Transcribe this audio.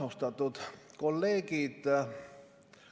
Austatud kolleegid!